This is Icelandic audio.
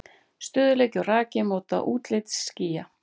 Stöðugleiki og raki móta útlit skýja.